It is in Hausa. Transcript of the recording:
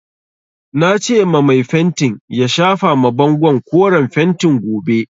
Nace ma mai fentin ya shafa ma bangon koren fentin gobe.